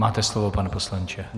Máte slovo, pane poslanče.